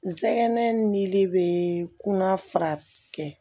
N sɛgɛn nili bɛ kunna fara kɛ